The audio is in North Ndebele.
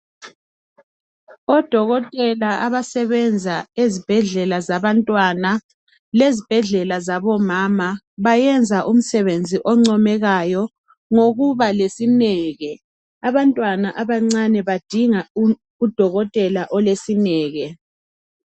Odokotela abasebenza ezibhedlela zabantwana lezibhedlela zabomama bayenza umsebenzi oncomekayo ngokuba lesineke abantwana abancane badinga udokotela olesineke.